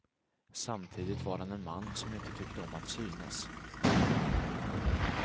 Samtidigt var han en man som inte tyckte om att synas.